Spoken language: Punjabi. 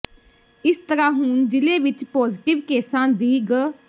ਇਸ ਤਰਾਂ ਹੁਣ ਜਿਲੇ ਵਿਚ ਪੋਜਟਿਵ ਕੇਸਾਂ ਦੀ ਗ